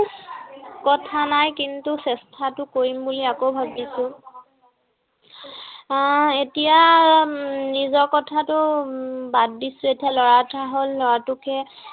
কথা নাই কিন্তু চেষ্টাতো কৰিম বুলি আকৌ ভাবিছো। আহ এতিয়া নিজৰ কথাটো উম বাদ দিছো। এতিয়া লৰা এটা হল, লৰাটোকে